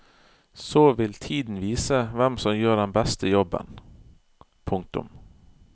Så vil tiden vise hvem som gjør den beste jobben. punktum